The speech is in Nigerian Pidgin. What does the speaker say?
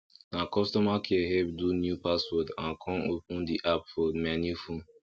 na customer care help do new password and con open the app for my new phone